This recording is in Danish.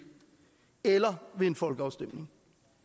eller ved en folkeafstemning